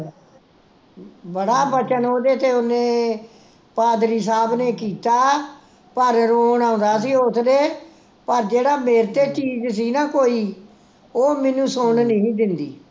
ਬੜਾ ਵਚਨ ਓਹਦੇ ਤੇ ਓਹਨੇ, ਪਾਦਰੀ ਸਾਹਿਬ ਨੇ ਕੀਤਾ ਪਰ ਰੋਣ ਆਉਂਦਾ ਸੀ ਓਸਦੇ, ਪਰ ਜਿਹੜਾ ਮੇਰੇ ਤੇ ਚੀਜ਼ ਸੀ ਨਾ ਕੋਈ, ਉਹ ਮੇਨੂੰ ਸੁਣਨ ਨੀ ਸੀ ਦਿੰਦੀ ਸੀ